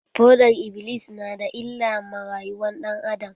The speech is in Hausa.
Fodar-iblis na da illa ma rayuwar ɗan adam.